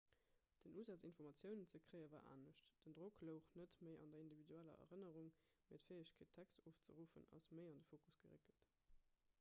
den usaz informatiounen ze kréie war anescht den drock louch net méi an der individueller erënnerung mee d'fäegkeet text ofzeruffen ass méi an de fokus geréckelt